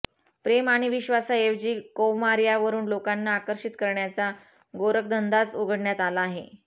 प्रेम आणि विश्वासाऐवजी कौमार्यावरून लोकांना आकर्षित करण्याचा गोरखधंदाच उघडण्यात आला आहे